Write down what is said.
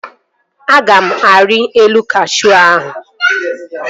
Aga m arị elu kashuu ahụ